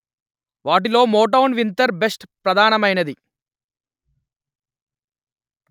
వాటిలో Motown winter best ప్రధానమైనది